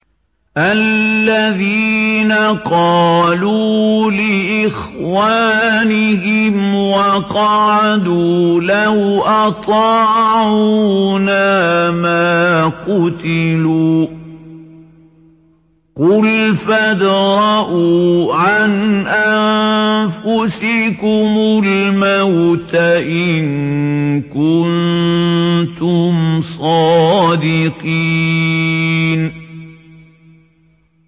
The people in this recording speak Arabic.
الَّذِينَ قَالُوا لِإِخْوَانِهِمْ وَقَعَدُوا لَوْ أَطَاعُونَا مَا قُتِلُوا ۗ قُلْ فَادْرَءُوا عَنْ أَنفُسِكُمُ الْمَوْتَ إِن كُنتُمْ صَادِقِينَ